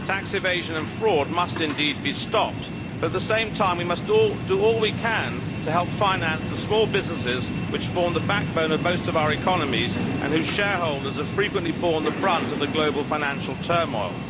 tax evasion and fraud must indeed be stopped, but at the same time we must do all we can to help finance the small businesses which form the backbone of most of our economies and whose shareholders have frequently borne the brunt of the global financial turmoil.